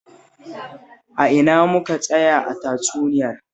A ina muka tsaya a tatsuniyar?